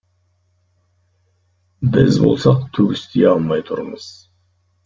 біз болсақ түк істей алмай тұрмыз